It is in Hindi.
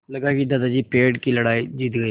लगा कि दादाजी पेड़ की लड़ाई जीत गए